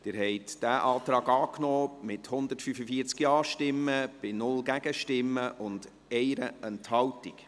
Sie haben diesen Antrag angenommen, mit 145 Ja-Stimmen bei 0 Gegenstimmen und 1 Enthaltung.